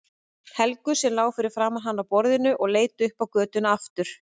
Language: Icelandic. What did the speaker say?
Helgu sem lá fyrir framan hann á borðinu og leit upp á götuna aftur.